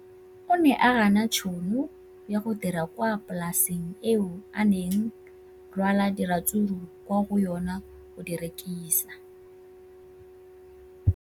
O ne a gana tšhono ya go dira kwa polaseng eo a neng rwala diratsuru kwa go yona go di rekisa.